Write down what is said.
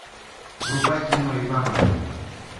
врубай кино ивановы